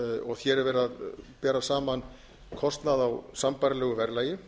og hér er verið að bera saman kostnað á sambærilegu verðlagi